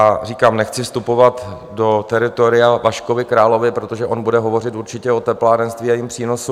A říkám, nechci vstupovat do teritoria Vaškovi Královi, protože on bude hovořit určitě o teplárenství a jeho přínosu.